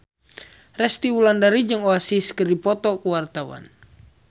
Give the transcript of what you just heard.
Resty Wulandari jeung Oasis keur dipoto ku wartawan